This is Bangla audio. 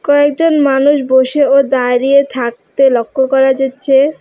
কয়েকজন মানুষ বসে ও দাঁড়িয়ে থাকতে লক্ষ্য করা যাচ্ছে।